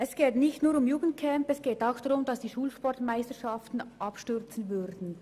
Es geht nicht nur um Jugendcamps, auch die Schulsportmeisterschaften würden abstürzen.